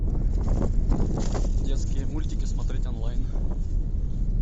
детские мультики смотреть онлайн